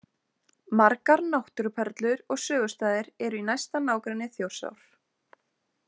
Margar náttúruperlur og sögustaðir eru í næsta nágrenni Þjórsár.